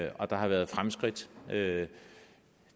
og der har været fremskridt det